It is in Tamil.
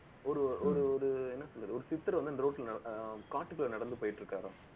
ஒரு ஒரு ஒரு என்ன சொல்றது ஒரு சித்தர் வந்து, அந்த road ல ஆஹ் காட்டுக்குள்ள நடந்து போயிட்டிருக்காரு